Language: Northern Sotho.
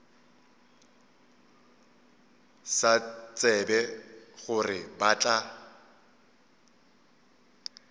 sa tsebe gore ba tla